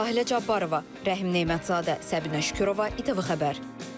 Sahilə Cabbarova, Rəhim Nemətzadə, Səbinə Şükürova, ATV Xəbər.